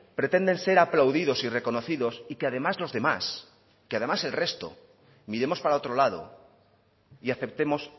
pretenden ser aplaudidos y reconocidos y que además los demás que además el resto miremos para otro lado y aceptemos